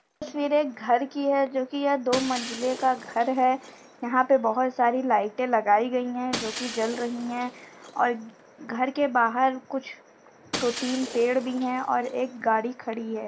तस्वीरे एक घर की है जो कि दो मंजिली का घर है। यहाँं पर बहुत सारी लाइटें लगाई गई हैं जो कि जल रही हैं और घर के बाहर कुछ दो-तीन पेड़ भी हैं और एक गाड़ी खड़ी है।